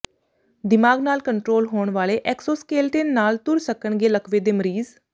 ਦਿਮਾਗ਼ ਨਾਲ ਕੰਟਰੋਲ ਹੋਣ ਵਾਲੇ ਐਕਸੋਸਕੇਲੇਟਨ ਨਾਲ ਤੁਰ ਸਕਣਗੇ ਲਕਵੇ ਦੇ ਮਰੀਜ਼